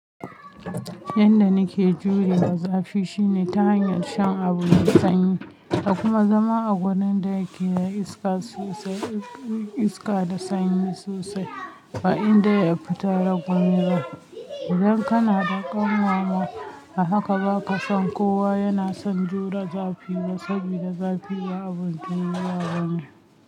Yanda nake jurewa zafi shine ta hanyar shan abu mai sanyi da kuma zama a wurin da yake da iska sosai, iska da sanyi sosai, ba inda ya fita daga gona. Idan kana da kanwarma, a haka ba ka son kowa yana son jure zafi ba saboda zafi ya abun da ya zama.